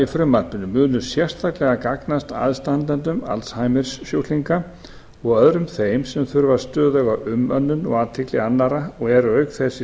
frumvarpinu munu sérstaklega gagnast aðstandendum alzheimer sjúklinga og öðrum þeim sem þurfa stöðuga umönnun og athygli annarra og eru auk þess í